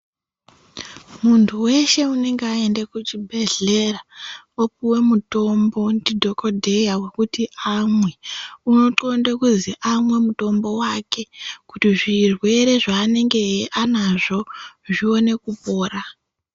Muntu weshe unonga aende kuchibhehlera wopuwe mutombo ndidhokodheya wokuti amwe unoxnlonde kuzi amwe mutombo wake kuti zvirwere zvaanenge anazvo zvione kupora.